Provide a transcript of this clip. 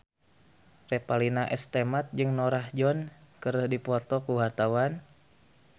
Revalina S. Temat jeung Norah Jones keur dipoto ku wartawan